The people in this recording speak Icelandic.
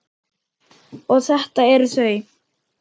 Og þetta eru þau.